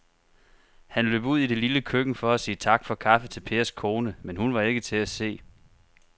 Han løb ud i det lille køkken for at sige tak for kaffe til Pers kone, men hun var ikke til at se.